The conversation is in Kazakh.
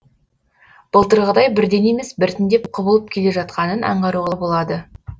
былтырғыдай бірден емес біртіндеп құбылып келе жатқанын аңғаруға болады